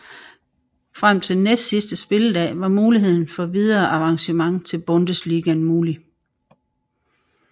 Frem til næstsidste spilledag var muligheden for videre avancement til Bundesligaen mulig